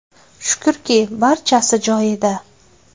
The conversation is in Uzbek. Shukrki, barchasi joyida.